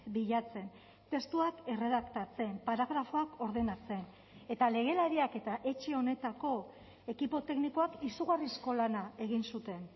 bilatzen testuak erredaktatzen paragrafoak ordenatzen eta legelariak eta etxe honetako ekipo teknikoak izugarrizko lana egin zuten